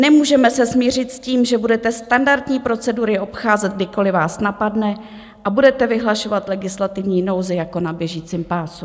Nemůžeme se smířit s tím, že budete standardní procedury obcházet, kdykoliv vás napadne, a budete vyhlašovat legislativní nouzi jako na běžícím pásu.